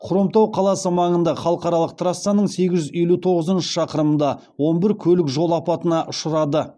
хромтау қаласы маңында халықаралық трассаның сегіз жүз елу тоғызыншы шақырымында он бір көлік жол апатына ұшырады